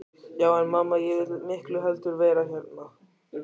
Já en mamma, ég vil miklu heldur vera hérna.